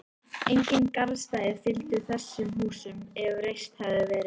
Engin garðstæði fylgdu þessum húsum, ef reist hefðu verið.